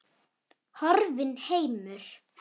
Horfinn heimur.